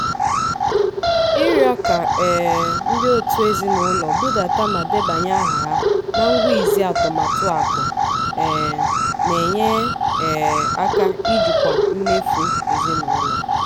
ịrịọ ka um ndị òtù ezinụlọ budata ma debanye aha na ngwa izi atụmatụ akụ um na-enye um aka ijikwa mmefu ezinụlọ.